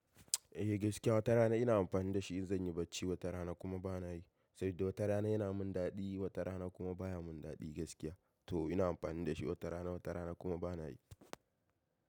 Eh gaskiya wata rana ina amfani da shi in zan yi bacci, wata rana kuma bana yi. Saboda wata rana yana min daɗi, wata rana kuma baya min daɗi gaskiya. To ina amfani da shi wata rana, wata rana kuma bana yi.